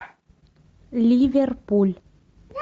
ливерпуль